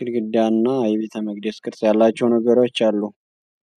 ግድግዳ እና የቤተመቅደስ ቅርጽ ያላቸው ነገሮች አሉ።